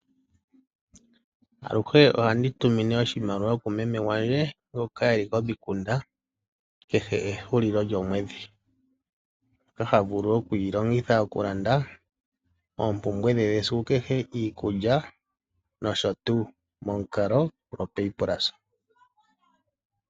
Aluhe ohandi tumine oshimaliwa kumeme gwandje ngoka eli komikunda, kehe ehulilo lyomwedhi. Mboka ha vulu okuyi longitha okulanda oompumbwe dhe dhesiku kehe, iikulya noshotuu ,momukalo goPayPlus.